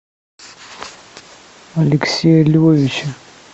алексея львовича